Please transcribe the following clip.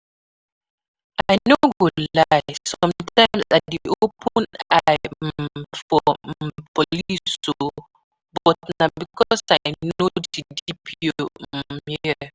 I no go lie, sometimes I dey open eye um for um police oo, but na because I know the DPO um here